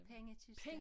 Pengekisten